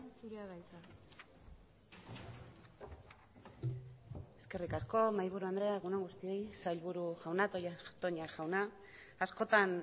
zurea da hitza eskerrik asko mahaiburu andrea egunon guztioi sailburu jauna toña jauna askotan